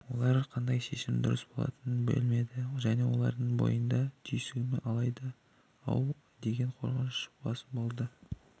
олар қандай шешім дұрыс болатынын білмеді және олардың бойында түйсігім алдайды-ау деген қорқыныш басым болды